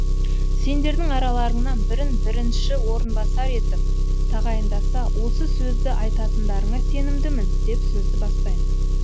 сендердің араларыңнан бірін бірінші орынбасар етіп тағайындаса осы сөзді айтатындарыңа сенімдімін деп сөзді бастаймын